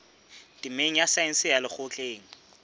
temeng ya saense ya lekgotleng